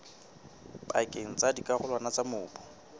pakeng tsa dikarolwana tsa mobu